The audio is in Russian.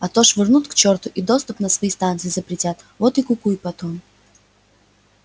а то вышвырнут к черту и доступ на свои станции запретят вот и кукуй потом